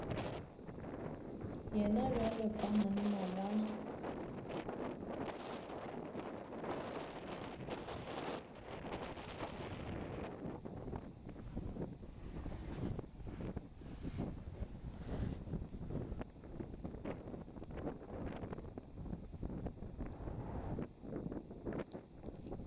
yena bjalo ka monna wa